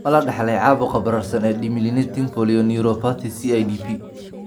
Ma la dhaxlay caabuqa bararsan ee demyelinating polyneuropathy (CIDP)?